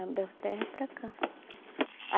A Belterra é para cá.